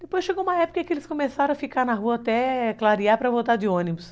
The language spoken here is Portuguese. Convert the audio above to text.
Depois chegou uma época que eles começaram a ficar na rua até clarear para voltar de ônibus.